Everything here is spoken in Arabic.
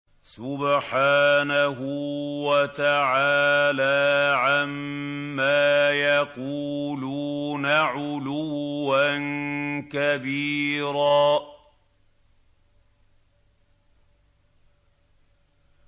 سُبْحَانَهُ وَتَعَالَىٰ عَمَّا يَقُولُونَ عُلُوًّا كَبِيرًا